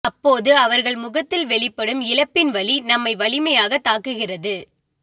அப்போது அவர்கள் முகத்தில் வெளிப்படும் இழப்பின் வலி நம்மை வலிமையாகத் தாக்குகிறது